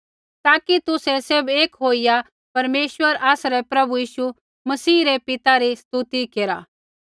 ताकि तुसै सैभ एक होइया परमेश्वर आसरै प्रभु यीशु मसीह रै पिता री स्तुति केरा